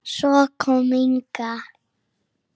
Svo kom Inga.